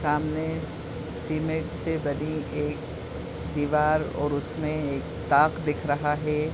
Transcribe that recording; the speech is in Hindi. सामने सीमेंट से बनी एक दीवार और उसमें एक टाक दिख रहा है।